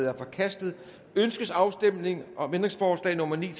er forkastet ønskes afstemning om ændringsforslag nummer ni